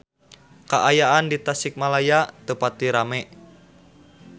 Kaayaan di Tasikmalaya teu pati rame